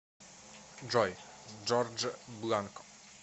джой джордж бланко